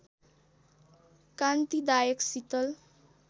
कान्तिदायक शीतल